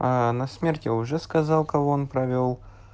а на смерти уже сказал кого он провёл